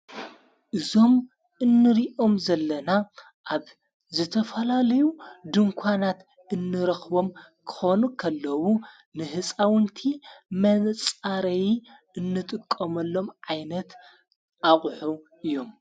እዞም እንሪኦም ዘለና ኣብ ዝተፈላለዩ ድንኳናት እንረኽቦም ክኾኑ ከለዉ ንሕፃውንቲ መንጻረይ እንጥቆመሎም ዓይነት ኣቝሑ እዮም።